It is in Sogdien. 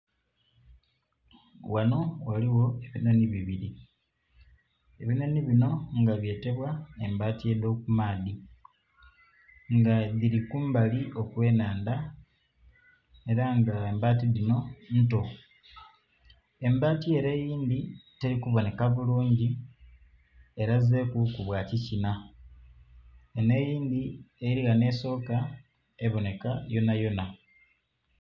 Ghano ghaliwo enonhonhi bibiri, enonhonhi bino nga byetebwa embati dhokumaadhi nga biri kumbali ogw'amaadhi era nga embati dhino nto. Embati ere eindhi terikuboneka bulungi elazeku bwa kikina. Eno eindhi eri ghano esooka ebonheka yonayona